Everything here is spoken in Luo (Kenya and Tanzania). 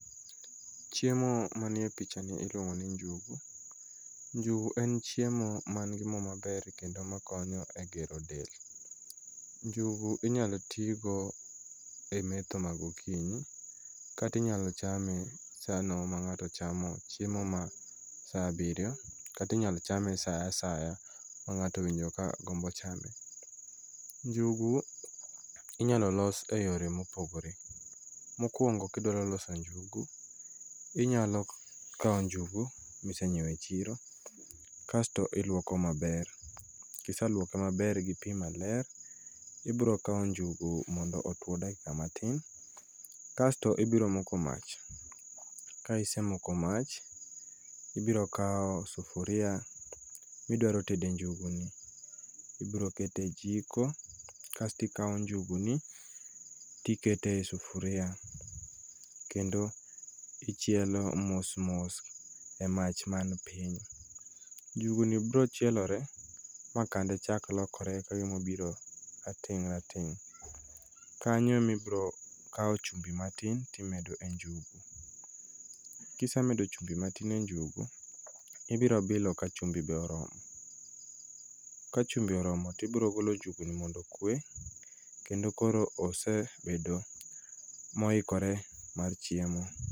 Chiiemo manie pichani iluomngo ni njugu, njugu en chiemo ma nigi moo maber kendo makonyo e gero del, njugu inyalo tigo e metho ma gokinyi, kata inyalo chame saano ma ng'ato chamo chiemo ma saa abirio, kata inyalo chame saa asaya ma ng'ato owinjo ka gombo chame, njugu inyalo los e yore mopogore, mokuongo ka idwaroloso njugu, inyalo kawo njugu, ma isenyieo e chiro kasto iluoko maber, kisaluoke maber gi pii maler, ibrokawo njuigu mondo otwo dakika matin, kasto ibiro moko mach, ka isemoko mach, ibirokawo sufuria ma idwarotede njuguni, ibirokete e jiko kasto ikawo njuguni to ikete e sufuria, kendo ichielo mos mos e mach man piny, njuguni biro chielore ma kande chak lokore kagima obiro rateng' rateng' kanyo ema ibiro kawo e chumbi matin to imedo e njugu, ka isemedo chumbi matin e njugu, ibiro bilo ka chumbi be oromo, ka chumbi oromo to ibirogolo njuguni mondo okwee, kendo koro osebedo ma oikore mar chiemo.